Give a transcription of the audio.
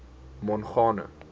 mongane